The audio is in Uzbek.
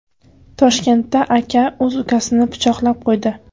Toshkentda aka o‘z ukasini pichoqlab qo‘ydi.